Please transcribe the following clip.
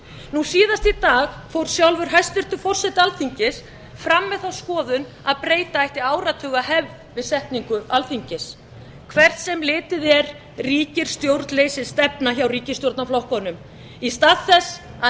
nú síðast í dag fór sjálfur hæstvirtur forseti alþingis fram með þá skoðun að breyta ekki áratugahefð við setningu alþingis hvert sem litið er ríkir stjórnleysisstefna hjá ríkisstjórnarflokkunum í stað þess að